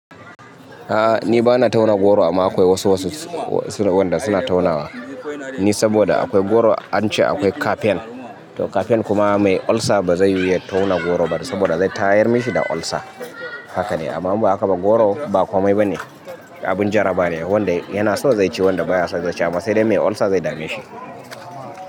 A'a ni bana tauna goro amma akwai wasu wasu wanda suna taunawa. Ni saboda akwai goro ance akwai kafian, to kafian kuma mai ulcer ba zai yuhu ya tauna goro ba saboda zai tayar mashi da olsa. Haka ne amma ni akaban goro ba komai ba ne, abin jaraba ne wanda yana so zai ci wanda baya son zai ci amma sai dai mai ulcer zai dame shi.